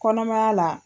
Kɔnɔmaya la